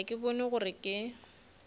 ga ke bone gore ke